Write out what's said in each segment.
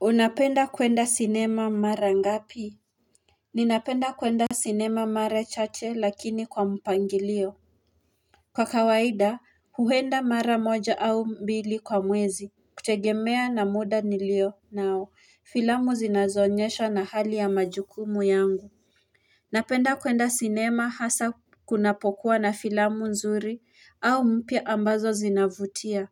Unapenda kwenda sinema mara ngapi? Ninapenda kuenda sinema mara chache lakini kwa mpangilio. Kwa kawaida huenda mara moja au mbili kwa mwezi kutegemea na muda nilionao, filamu zinazoonyeshwa na hali ya majukumu yangu Napenda kuenda sinema hasaa kunapokuwa na filamu nzuri au mpya ambazo zinavutia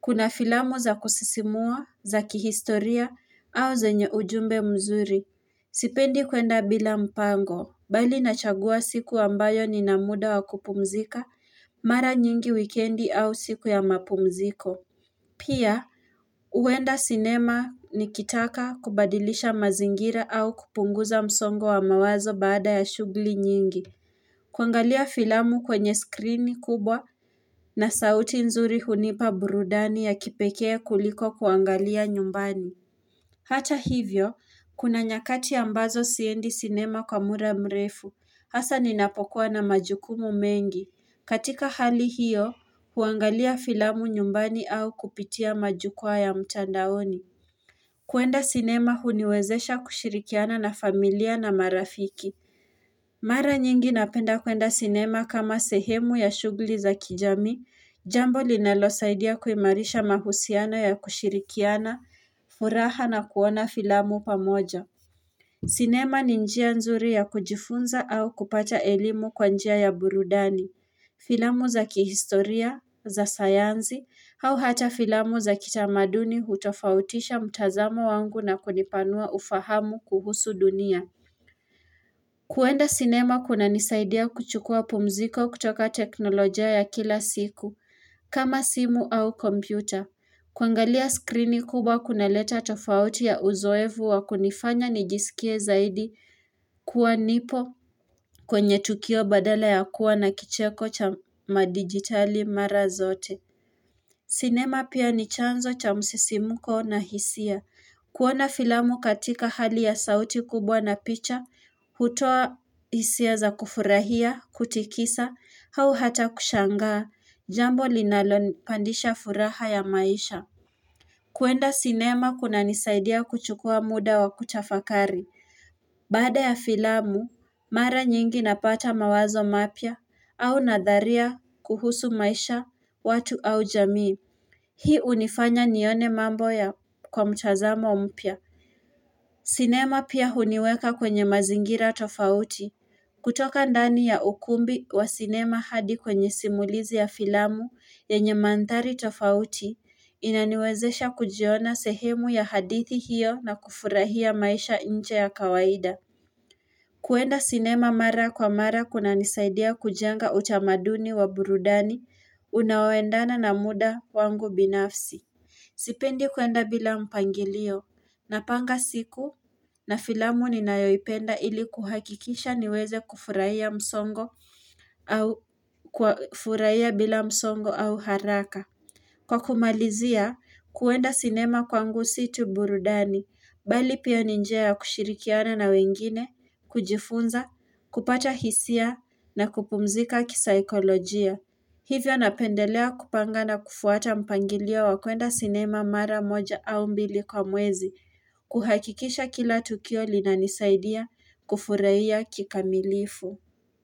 Kuna filamu za kusisimua, za kihistoria au zenye ujumbe mzuri. Sipendi kuenda bila mpango, bali nachagua siku ambayo ninamuda wa kupumzika, mara nyingi wikendi au siku ya mapumziko. Pia, huenda sinema nikitaka kubadilisha mazingira au kupunguza msongo wa mawazo baada ya shughuli nyingi. Kuangalia filamu kwenye skrini kubwa na sauti nzuri hunipa burudani ya kipekee kuliko kuangalia nyumbani. Hata hivyo, kuna nyakati ambazo siendi sinema kwa muda mrefu, hasaa ninapokuwa na majukumu mengi. Katika hali hiyo, kuangalia filamu nyumbani au kupitia majukwaa ya mtandaoni. Kuenda sinema huniwezesha kushirikiana na familia na marafiki. Mara nyingi napenda kuenda sinema kama sehemu ya shughuli za kijamii, jambo linalosaidia kuimarisha mahusiano ya kushirikiana, furaha na kuona filamu pamoja. Sinema ni njia nzuri ya kujifunza au kupata elimu kwa njia ya burudani, filamu za kihistoria, za sayansi, au hata filamu za kitamaduni hutofautisha mtazamo wangu na kunipanua ufahamu kuhusu dunia. Kuenda sinema kunanisaidia kuchukua pumziko kutoka teknolojia ya kila siku, kama simu au kompyuta. Kuangalia skrini kubwa kunaleta tofauti ya uzoefu wa kunifanya nijisikie zaidi kuwa nipo kwenye tukio badala ya kuwa na kicheko cha majigitali mara zote. Sinema pia ni chanzo cha msisimko na hisia. Kuona filamu katika hali ya sauti kubwa na picha, hutoa hisia za kufurahia, kutikisa, au hata kushangaa, jambo linalonipandisha furaha ya maisha. Kuenda sinema kunanisaidia kuchukua muda wa kutafakari. Baada ya filamu, mara nyingi napata mawazo mapya, au nadharia kuhusu maisha, watu au jamii. Hii hunifanya nione mambo kwa mtazamo mpya. Sinema pia huniweka kwenye mazingira tofauti. Kutoka ndani ya ukumbi wa sinema hadi kwenye simulizi ya filamu yenye manthari tofauti inaniwezesha kujiona sehemu ya hadithi hiyo na kufurahia maisha nje ya kawaida. Kuenda sinema mara kwa mara kunanisaidia kujenga utamaduni wa burudani unaoendana na muda wangu binafsi. Sipendi kuenda bila mpangilio, napanga siku na filamu ninayoipenda ili kuhakikisha niweze kufurahia bila msongo au haraka. Kwa kumalizia, kuenda sinema kwangu si tu burudani, bali pia ni njia ya kushirikiana na wengine, kujifunza, kupata hisia na kupumzika kisaikolojia. Hivyo napendelea kupanga na kufuata mpangilio wa kuenda sinema mara moja au mbili kwa mwezi kuhakikisha kila tukio linanisaidia kufurahia kikamilifu.